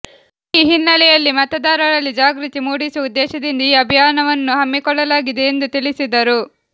ಈ ಹಿನ್ನೆಲೆಯಲ್ಲಿ ಮತದಾರರಲ್ಲಿ ಜಾಗೃತಿ ಮೂಡಿಸುವ ಉದ್ದೇಶದಿಂದ ಈ ಅಭಿಯಾನವನ್ನು ಹಮ್ಮಿಕೊಳ್ಳಲಾಗಿದೆ ಎಂದು ತಿಳಿಸಿದರು